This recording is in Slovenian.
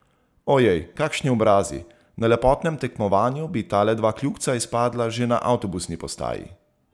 Ojej, kakšni obrazi, na lepotnem tekmovanju bi tale dva kljukca izpadla že na avtobusni postaji.